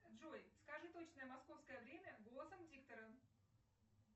джой скажи точное московское время голосом диктора